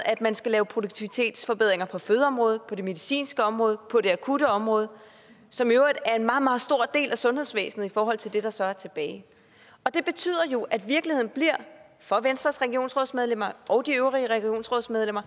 at man skal lave produktivitetsforbedringer på fødeområdet på det medicinske område og på det akutte område som i øvrigt er en meget meget stor del af sundhedsvæsenet i forhold til det der så er tilbage og det betyder jo at virkeligheden for venstres regionsrådsmedlemmer og de øvrige regionsrådsmedlemmer